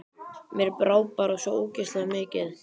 Mér brá bara svo ógeðslega mikið.